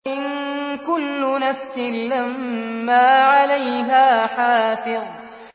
إِن كُلُّ نَفْسٍ لَّمَّا عَلَيْهَا حَافِظٌ